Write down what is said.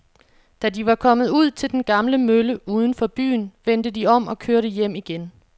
Da de var kommet ud til den gamle mølle uden for byen, vendte de om og kørte hjem igen.